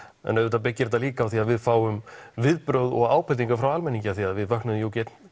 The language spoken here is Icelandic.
en auðvitað byggir þetta líka á því að við fáum viðbrögð og ábendingar frá almenningi því að við vöknuðum ekki einn